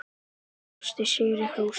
Brosti sigri hrósandi.